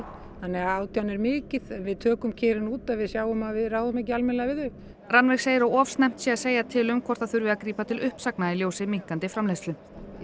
þannig að átján er mikið við tökum kerin út ef við sjáum að við ráðum ekki almennilega við þau Rannveig segir að of snemmt sé að segja til um hvort það þurfi að grípa til uppsagna í ljósi minnkandi framleiðslu